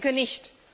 Ich denke nicht.